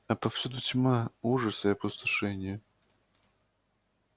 а повсюду тьма ужас и опустошение